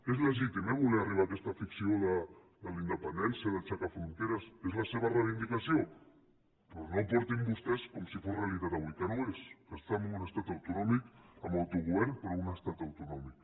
és legítim eh voler arribar a aquesta ficció de la independència d’aixecar fronteres és la seva reivindicació però no ho portin vostès com si fos realitat avui que no ho és que estan en un estat autonòmic amb autogovern però un estat autonòmic